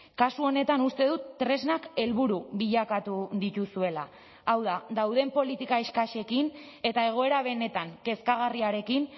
kasu honetan uste dut tresnak helburu bilakatu dituzuela hau da dauden politika eskasekin eta egoera benetan kezkagarriarekin